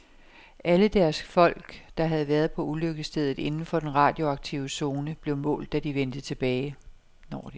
Alle deres folk, der havde været på ulykkesstedet inden for den radioaktive zone, blev målt, når de vendte tilbage.